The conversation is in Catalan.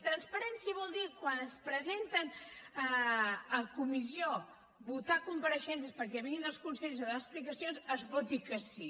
transparència vol dir quan es presenten a comissió a votar compareixences perquè vinguin els consellers a donar explicacions que es voti que sí